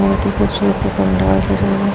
बोहोत ही खूबसूरत सा पंडाल सजा हुआ --